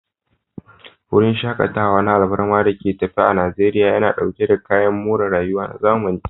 Wurin shakatawa na alfarma da ke tafe a Najeriya, yana dauke da kayan more rayuwa na zamani.